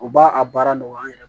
U b'a a baara nɔgɔya an yɛrɛ